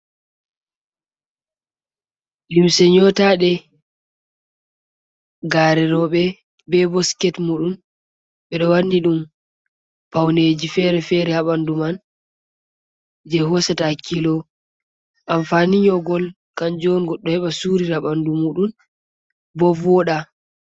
Limse nyotade gare rewbe , be bo siket mudum ,bedo wanni dum pauneji fere-fere habandu man, je hosata hakkilo. Amfani nyogol kanju on goddo heba surira bandu mudum ,bo voda.